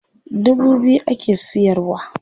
Dubu biyu ake siyarwa.